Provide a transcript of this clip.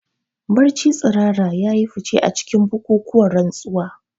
Barci tsirara ya yi fice a cikin bukukuwan rantsuwa.